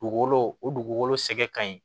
Dugukolo o dugukolo sɛgɛn ka ɲi